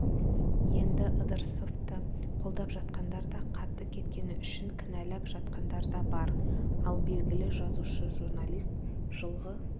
енді ыдырысовты қолдап жатқандар да қатты кеткені үшін кінәлап жатқандар да бар ал белгілі жазушы-журналист жылғы